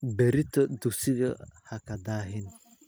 Berrito dugsiga ha ka daahin